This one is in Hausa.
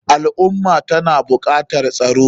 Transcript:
Al ummah tana bukatar tsaro.